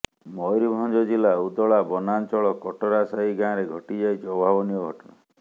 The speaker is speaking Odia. ମୟୂରଭଞ୍ଜ ଜିଲ୍ଲା ଉଦଳା ବନାଞ୍ଚଳ କଟରାସାହି ଗାଁରେ ଘଟିଯାଇଛି ଅଭାବନୀୟ ଘଟଣା